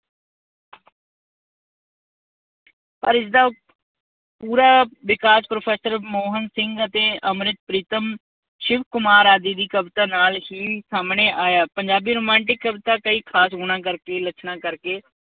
ਪਰ ਇਸਦਾ ਪੂਰਾ ਵਿਕਾਸ ਪ੍ਰੋਫੈਸਰ ਮੋਹਨ ਸਿੰਘ ਅਤੇ ਅੰਮ੍ਰਿਤਾ ਪ੍ਰੀਤਮ, ਸ਼ਿਵ ਕੁਮਾਰ ਆਦਿ ਦੀ ਕਵਿਤਾ ਨਾਲ ਹੀ ਸਾਹਮਣੇ ਆਇਆ। ਪੰਜਾਬੀ ਰੁਮਾਂਟਿਕ ਕਵਿਤਾ ਕਈ ਖਾਸ ਗੁਣਾਂ ਕਰਕੇ ਲੱਛਣਾਂ ਕਰਕੇ